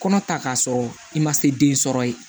Kɔnɔ ta k'a sɔrɔ i ma se den sɔrɔ ye